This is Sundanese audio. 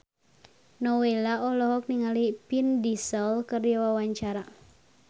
Nowela olohok ningali Vin Diesel keur diwawancara